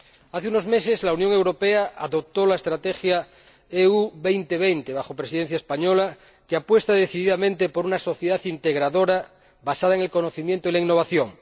Hace unos meses, la Unión Europea adoptó la Estrategia Europa 2020, bajo la Presidencia española, que apuesta decididamente por una sociedad integradora basada en el conocimiento y en la innovación.